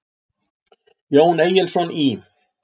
Jón Egilsson í